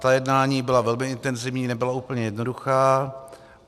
Ta jednání byla velmi intenzivní, nebyla úplně jednoduchá.